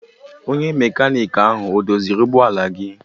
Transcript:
Onye mekaniki ahụ ọ doziri ụgbọ ala gị?